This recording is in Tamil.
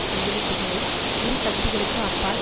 கையெழுத்துக்களை இரு கட்சிகளுக்கு அப்பால்